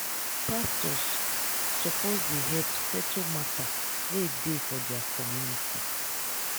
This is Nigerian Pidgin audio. pastors suppose dey help settle mata wey dey for their community.